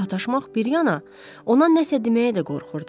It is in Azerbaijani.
Sataşmaq bir yana, ona nəsə deməyə də qorxurdu.